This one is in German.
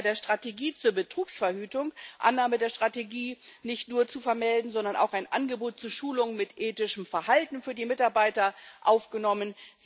Sie hat auch bei der Strategie zur Betrugsverhütung nicht nur die Annahme der Strategie zu vermelden, sondern auch ein Angebot zu Schulungen mit ethischem Verhalten für die Mitarbeiter aufgenommen.